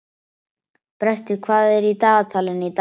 Brestir, hvað er í dagatalinu í dag?